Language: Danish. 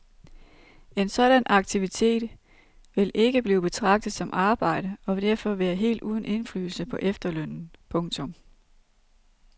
En sådan aktivitet vil ikke blive betragtet som arbejde og vil derfor være helt uden indflydelse på efterlønnen. punktum